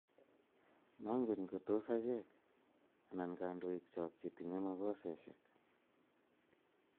Mongen ngotos achek anan kandoik chok chetinye makoseshek